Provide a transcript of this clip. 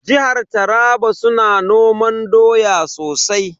Jihar Taraba su na noman doya sosai.